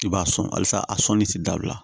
I b'a sɔn halisa a sɔnni ti dabila